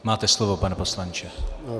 Máte slovo, pane poslanče.